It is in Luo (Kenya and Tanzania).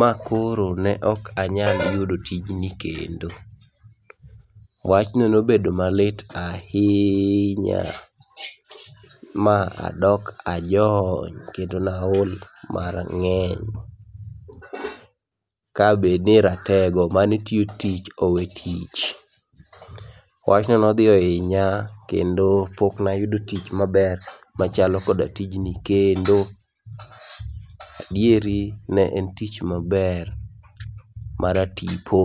ma koro ne ok anyal yudo tijni kendo. Wachno nobedo malit ahinya ma adok ajony kendo naol mang'eny. Kabedni ni ratego manetiyo tich owe tich. Wachno nodhi ohinya kendo poknayudo tich maber machalo koda tijni kendo. Adieri ne en tich maber maratipo.